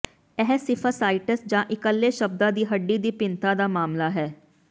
ਇਹ ਸਿਫਫਾਈਸਾਈਟਸ ਜਾਂ ਇਕੱਲੇ ਸ਼ਬਦਾਂ ਦੀ ਹੱਡੀ ਦੀ ਭਿੰਨਤਾ ਦਾ ਮਾਮਲਾ ਹੈ